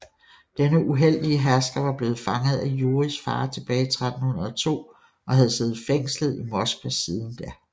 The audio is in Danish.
Denne uheldige hersker var blevet fanget af Jurijs far tilbage i 1302 og havde siddet fængslet i Moskva siden da